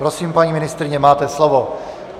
Prosím, paní ministryně, máte slovo.